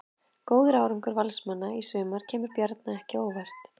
Góður árangur Valsmanna í sumar kemur Bjarna ekki á óvart.